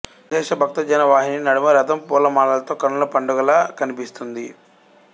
అశేష భక్త జన వాహిని నడుమ రథం పూల మాలలతో కన్నుల పండుగలా కనిపిస్తుంది